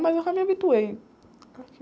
Mas eu já me habituei aqui.